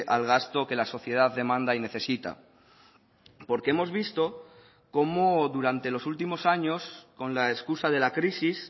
al gasto que la sociedad demanda y necesita porque hemos visto como durante los últimos años con la excusa de la crisis